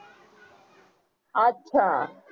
अच्छा